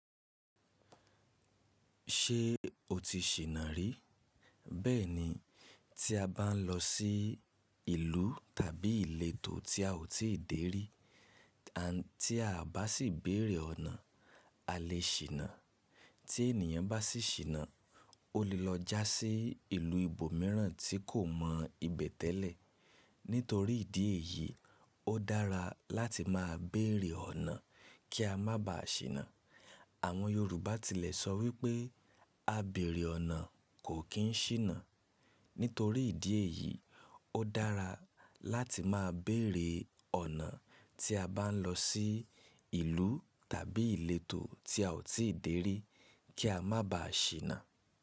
Ṣé o ti ṣìnà rí? Bẹ́ẹ̀ni, tí a bá ń lọ sí ìlú tàbí ìletò tí a ò tíì dèrí, tí a bá sì béèrè ọ̀nà, a lè ṣìnà. Tí ènìyàn bá sì ṣìnà, ó lè lọ já sí ìlú ibòmíràn tí kò mọ ibẹ̀ tẹ́lẹ̀. Nítorí ìdí èyí, ó dára láti máa béèrè ọ̀nà kí a má baà ṣìnà. Àwọn Yorùbá tilẹ̀ sọ wípé “A bèèrè ọ̀nà kò kín ṣìnà”. Nítorí ìdí èyí, ó dára láti máa béèrè ọ̀nà tí a bá ń lọ sí ìlú tàbí ìletò tí a ò tíì dèrí kí a má baà ṣìnà.